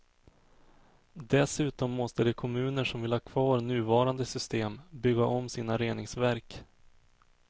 Dessutom måste de kommuner som vill ha kvar nuvarande system bygga om sina reningsverk.